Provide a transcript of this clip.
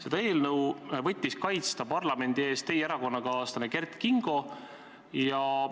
Seda eelnõu võttis kaitsta parlamendi ees teie erakonnakaaslane Kert Kingo.